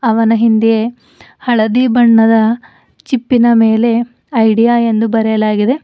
ಅವನ ಹಿಂದೆ ಹಳದಿ ಬಣ್ಣದ ಚಿಪ್ಪಿನ ಮೇಲೆ ಐಡಿಯಾ ಎಂದು ಬರೆಯಲಾಗಿದೆ.